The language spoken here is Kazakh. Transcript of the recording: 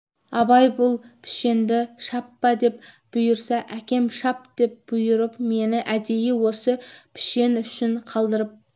абай бұл пішенді шаппа деп бұйырса әкем шап деп бұйырып мені әдейі осы пішен үшін қалдырып